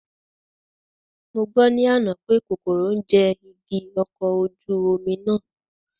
Mo gbọ́ ní àná pè kòkòrò ń jẹ igi ọkọ̀ ojú omi náà